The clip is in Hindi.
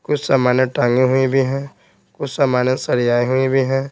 कुछ समानें टांगे हुई भी हैं कुछ सामानें सरियाए हुए भी हैं।